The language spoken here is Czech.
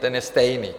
Ten je stejný.